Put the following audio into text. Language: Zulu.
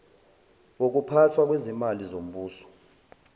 wokuphathwa kwezimali zombuso